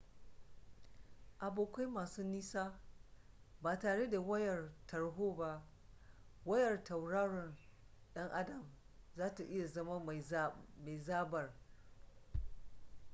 abokai masu nisa ba tare da wayar tarho ba wayar tauraron dan adam zata iya zama mai zaɓar